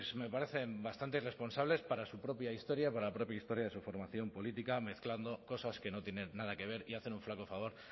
me parecen bastantes irresponsables para su propia historia para la propia historia de su formación política mezclando cosas que no tienen nada que ver y hacen un flaco favor